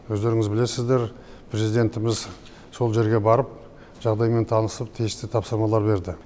өздеріңіз білесіздер президентіміз сол жерге барып жағдаймен танысып тиісті тапсырмалар берді